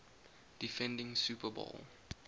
defending super bowl